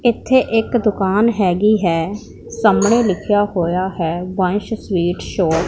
ਇੱਥੇ ਇੱਕ ਦੁਕਾਨ ਹੈਗੀ ਹੈ ਸਾਹਮਣੇ ਲਿਖਿਆ ਹੋਇਆ ਹੈ ਵੰਸ਼ ਸਵੀਟ ਸ਼ੋਪ --